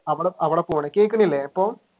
അവിടഅവിടെ പോണു കേൾക്കുന്നില്ലേ ഇപ്പൊ?